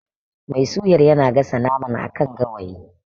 Mai suyar yana gasa naman a kan gawayi.